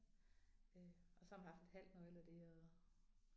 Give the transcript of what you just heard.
Øh og så man haft et halvt nøgle af det og